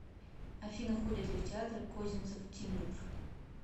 афина ходит ли в театр козинцев тимур